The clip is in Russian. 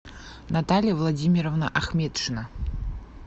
наталья владимировна ахметшина